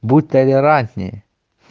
будь толерантнее